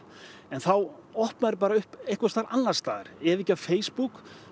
en þá opna þeir bara upp einhvers staðar annars staðar ef ekki á Facebook